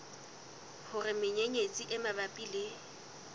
hore menyenyetsi e mabapi le